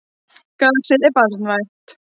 Gasið var banvænt.